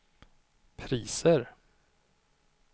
priser